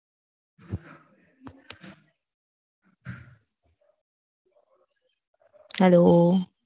Hello